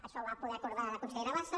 això ho va poder acordar la consellera bassa